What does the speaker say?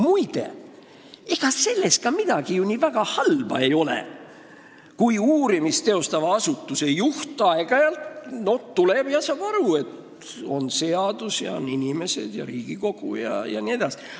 Muide, ega sellest ju midagi nii väga halba ei olekski, kui uurimist teostava asutuse juht tuleks aeg-ajalt siia ja saaks aru, et on seadus, inimesed, Riigikogu jne.